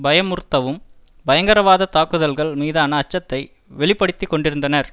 பயமுறுத்தவும் பயங்கரவாத தாக்குதல்கள் மீதான அச்சத்தை வெளி படுத்தி கொண்டிருந்தனர்